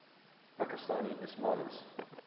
pakistani ismailis